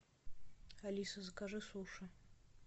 алиса закажи суши